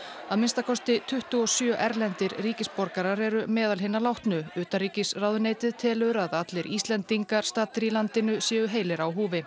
að minnsta kosti tuttugu og sjö erlendir ríkisborgarar eru meðal hinna látnu utanríkisráðuneytið telur að allir Íslendingar staddir í landinu séu heilir á húfi